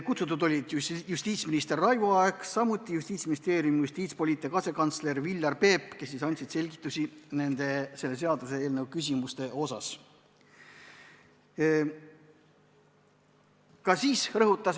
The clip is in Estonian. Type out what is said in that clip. Kutsutud olid justiitsminister Raivo Aeg ja Justiitsministeeriumi justiitshalduspoliitika asekantsler Viljar Peep, kes andis selgitusi selle seaduseelnõu küsimuste kohta.